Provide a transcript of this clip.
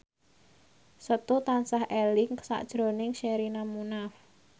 Setu tansah eling sakjroning Sherina Munaf